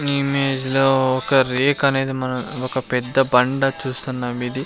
నీ ఈ ఇమేజ్ లో ఒక రేక్ అనేది మన ఒక పెద్ద బండ చూస్తున్నాము ఇది --